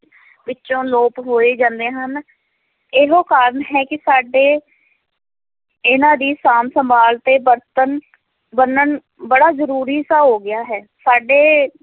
ਵਿੱਚੋਂ ਲੋਪ ਹੋਏ ਜਾਂਦੇ ਹਨ, ਇਹੋ ਕਾਰਨ ਹੈ ਕਿ ਸਾਡੇ ਇਹਨਾਂ ਦੀ ਸਾਂਭ ਸੰਭਾਲ ਤੇ ਵਰਤਣ ਵਰਣਨ ਬੜਾ ਜ਼ਰੂਰੀ ਸਾ ਹੋ ਗਿਆ ਹੈ, ਸਾਡੇ